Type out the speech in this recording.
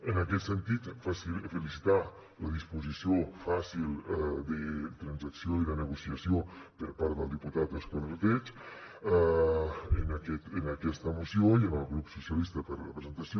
en aquest sentit felicitar la disposició fàcil de transacció i de negociació per part del diputat òscar ordeig en aquesta moció i al grup socialistes per la presentació